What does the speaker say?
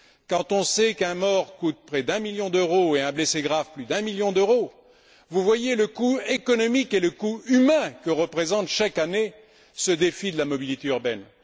Quand on sait qu'un mort coûte près d'un million d'euros, et un blessé grave plus d'un million d'euros, vous voyez le coût économique et le coût humain que représente chaque année ce défi de la mobilité urbaine.